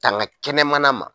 Tanga kɛnɛmana ma